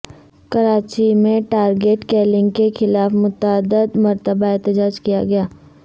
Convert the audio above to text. کراچی میں target killing کے خلاف متعدد مرتبہ احتجاج کیا گیا